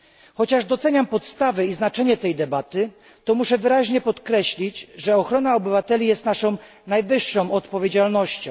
Chociaż doceniam podstawy i znaczenie tej debaty, muszę wyraźnie podkreślić, że ochrona obywateli jest naszą najwyższą odpowiedzialnością.